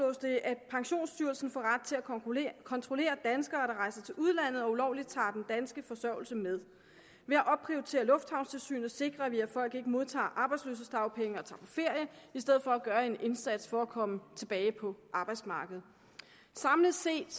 at pensionsstyrelsen får ret til at kontrollere kontrollere danskere der rejser til udlandet og ulovligt tager den danske forsørgelse med ved at opprioritere lufthavnstilsynet sikrer vi at folk ikke modtager arbejdsløshedsdagpenge og tager på ferie i stedet for at gøre en indsats for at komme tilbage på arbejdsmarkedet samlet set